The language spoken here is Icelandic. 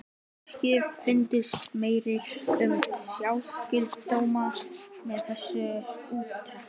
EKKI FUNDUST MERKI UM SMITSJÚKDÓMA Í ÞESSU ÚRTAKI.